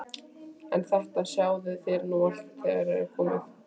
En þetta sjáið þér nú allt þegar þér komið.